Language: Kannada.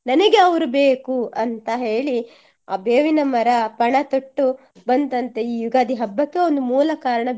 ನನಿಗೆ ಅವ್ರು ಬೇಕು ಅಂತ ಹೇಳಿ ಆ ಬೇವಿನ ಮರ ಪಣತೊಟ್ಟು ಬಂತಂತೆ ಈ ಯುಗಾದಿ ಹಬ್ಬಕ್ಕೆ ಒಂದು ಮೂಲ ಕಾರಣ